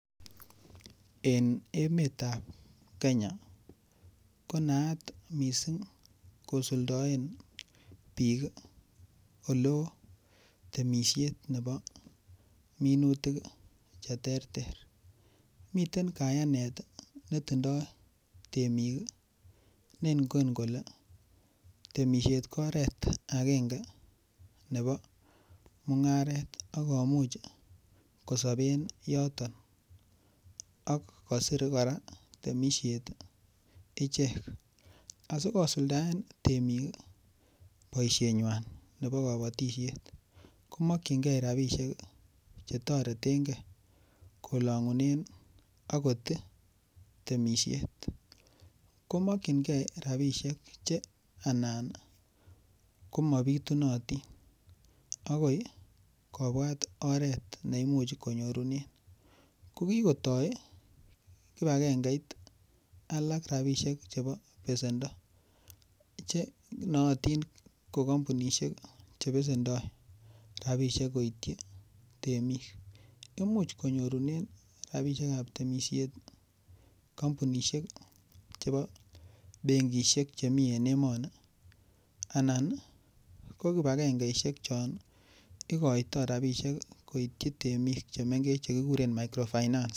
En emet ap Kenya konaat mising kosuldaen biik oleo temishet nebo minutik che ter ter miten kayanet nitindoi temik nengon kole temishet ko oret akenge nebo mung'aret akomuch kosoben yoton ak kosir kora temishet ichek asikosuldaen temik boishenywan nebo kobotishet komokchingei ropishek chetoretegei kolongunen akot temishet komokchingei ropishek che anan komabitunotin akoi kobuat oret neimuchi konyorunen ko kikotoi kibakengeit alak rapishek chebo besendo che noyotin ko kampunishek chebesendoi rapishek koitchi temik ko imuch konyorune rapishek ap temishet kompunishek chebo benkishek chemi en emoni anan ko kibakengeishek chon ikoitoi ropisiek koitchi temik chemengech che kikuren microfinance.